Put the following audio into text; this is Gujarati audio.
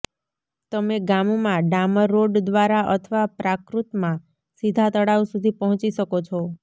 તમે ગામમાં ડામર રોડ દ્વારા અથવા પ્રાકૃતમાં સીધા તળાવ સુધી પહોંચી શકો છો